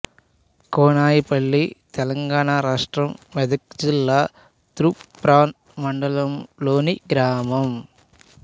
కోనాయిపల్లి తెలంగాణ రాష్ట్రం మెదక్ జిల్లా తూప్రాన్ మండలంలోని గ్రామం